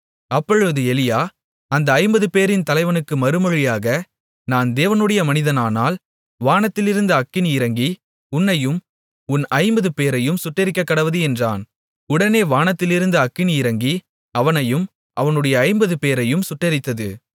அப்பொழுது எலியா அந்த ஐம்பதுபேரின் தலைவனுக்கு மறுமொழியாக நான் தேவனுடைய மனிதனானால் வானத்திலிருந்து அக்கினி இறங்கி உன்னையும் உன் ஐம்பது பேரையும் சுட்டெரிக்கக்கடவது என்றான் உடனே வானத்திலிருந்து அக்கினி இறங்கி அவனையும் அவனுடைய ஐம்பது பேரையும் சுட்டெரித்தது